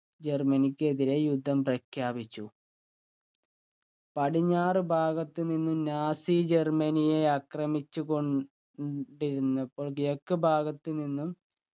ജർമനിക്ക് എതിരെ യുദ്ധം പ്രഖ്യാപിച്ചു പടിഞ്ഞാറു ഭാഗത്തുനിന്നും നാസി ജർമനിയെ ആക്രമിച്ചു കൊണ്ട് ണ്ടിരുന്നപ്പോൾ കിഴക്കു ഭാഗത്തു നിന്നും